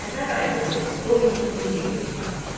Bu gün Səfər ayının 17-ci günüdür.